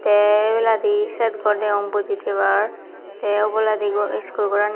te ebaladi sher gor degong buji tebar te oboladi iskul gorani.